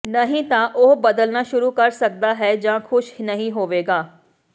ਨਹੀਂ ਤਾਂ ਉਹ ਬਦਲਣਾ ਸ਼ੁਰੂ ਕਰ ਸਕਦਾ ਹੈ ਜਾਂ ਖੁਸ਼ ਨਹੀਂ ਹੋਵੇਗਾ